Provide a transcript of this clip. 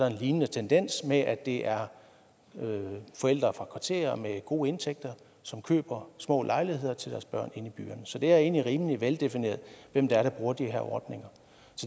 en lignende tendens med at det er forældre fra kvarterer med gode indtægter som køber små lejligheder til deres børn inde i byen så det er egentlig rimelig veldefineret hvem det er der bruger de her ordninger